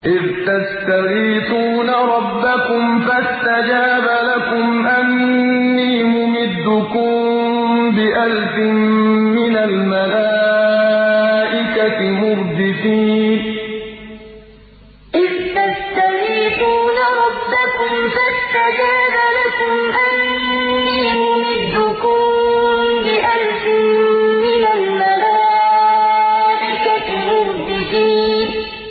إِذْ تَسْتَغِيثُونَ رَبَّكُمْ فَاسْتَجَابَ لَكُمْ أَنِّي مُمِدُّكُم بِأَلْفٍ مِّنَ الْمَلَائِكَةِ مُرْدِفِينَ إِذْ تَسْتَغِيثُونَ رَبَّكُمْ فَاسْتَجَابَ لَكُمْ أَنِّي مُمِدُّكُم بِأَلْفٍ مِّنَ الْمَلَائِكَةِ مُرْدِفِينَ